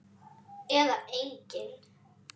Eða engin?